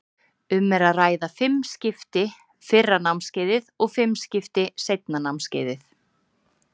Um er að ræða fimm skipti fyrra námskeiðið og fimm skipti seinna námskeiðið.